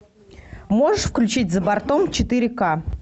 можешь включить за бортом четыре ка